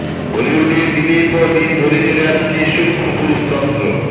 বলিউডে দিনের পর দিন ধরে চলে আসছে সূক্ষ পুরুষতন্ত্র